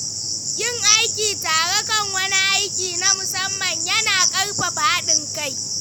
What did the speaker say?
Yin aiki tare kan wani aiki na musamman ya na ƙarfafa haɗin kai.